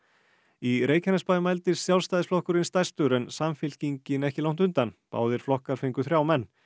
í Reykjanesbæ mældist Sjálfstæðisflokkurinn stærstur en Samfylkingin ekki langt undan báðir flokkar fengu þrjá menn